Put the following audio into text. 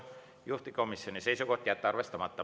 Juhtivkomisjoni seisukoht on jätta see arvestamata.